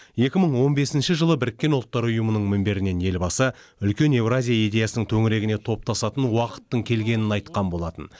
екі мың он бесінші жылы біріккен ұлттар ұйымының мінберінен елбасы үлкен еуразия идеясының төңірегіне топтасатын уақыттың келгенін айтқан болатын